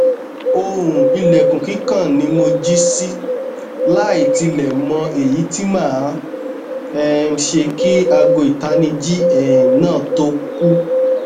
ohun ilẹkun kikan ni mo ji si laitilẹ mọ eyi ti maa um ṣe ki aago itanniji um naa to ku